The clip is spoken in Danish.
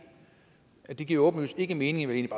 det giver åbenlyst ikke mening